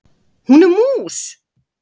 Hún er mús.